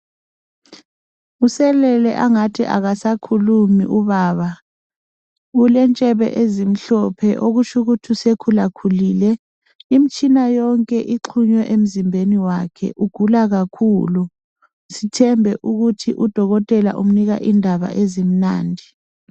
Uselele angathi akasakhulumi ubaba, ulendevu ezimhlophe okutsho ukuthi usekhula khulile. Imitshina yonke ixhunywe emzimbeni wakhe kukhanya ugula kakhulu , sithembe ukuthi udokotela umnika indaba ezimnandi.